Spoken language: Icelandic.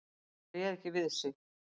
Hann réð ekki við sig.